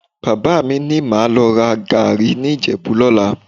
Bàbá mi má lọ ra gàárì ní Ìjẹ̀bú lọ́la